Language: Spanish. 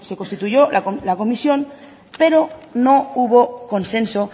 constituyó la comisión pero no hubo consenso